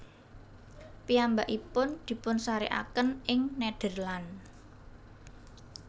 Piyambakipun dipunsarékaken ing Nederland